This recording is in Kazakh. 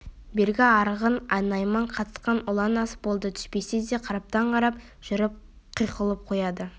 бергі арғын найман қатысқан ұлан ас болды түспесе де қараптан-қарап жүріп қиқұлап қояды